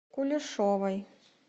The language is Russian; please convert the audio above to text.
кулешовой